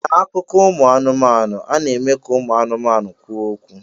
N'akụkọ ụmụ anụmanụ, a na-eme ka ụmụ anụmanụ kwuo okwu.